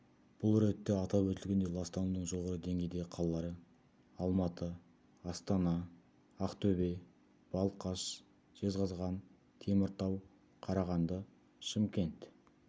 бұл ретте атап өтілгендей ластанудың жоғары деңгейдегі қалалары алматы астана ақтөбе балқаш жезқазған теміртау қарағанды шымкент